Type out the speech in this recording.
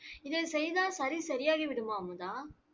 இதை செய்தால் சளி சரியாகிவிடுமா அமுதா?